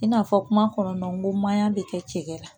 I n'a fɔ kuma kɔnɔna n ko maɲa bɛ kɛ cɛ la